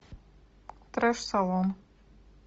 треш салон